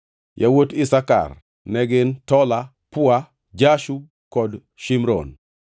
Yawuot Isakar ne gin: Tola, Pua, Jashub kod Shimron.